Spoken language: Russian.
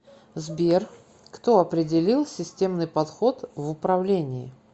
сбер кто определил системный подход в управлении